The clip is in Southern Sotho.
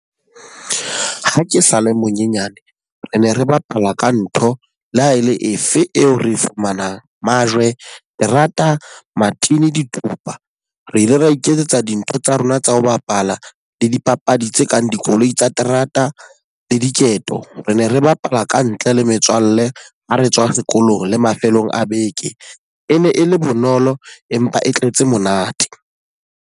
Ha ke sale monyenyane, re ne re bapala ka ntho le ha e le efe eo re e fumanang, majwe, terata, matini, dithupa. Re ile ra iketsetsa dintho tsa rona tsa ho bapala, le dipapadi tse kang dikoloi tsa terata le diketo. Re ne re bapala ka ntle le metswalle ha re tswa sekolong le mafelong a beke. E ne e le bonolo empa e tletse monate.